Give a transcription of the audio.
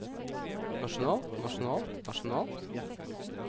nasjonalt nasjonalt nasjonalt